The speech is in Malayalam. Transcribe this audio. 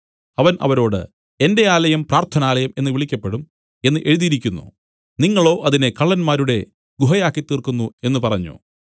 അവൻ അവരോട് എന്റെ ആലയം പ്രാർത്ഥനാലയം എന്നു വിളിക്കപ്പെടും എന്നു എഴുതിയിരിക്കുന്നു നിങ്ങളോ അതിനെ കള്ളന്മാരുടെ ഗുഹയാക്കിത്തീർക്കുന്നു എന്നു പറഞ്ഞു